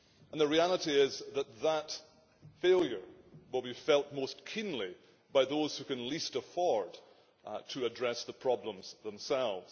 The reality is that that failure will be felt most keenly by those who can least afford to address the problems themselves.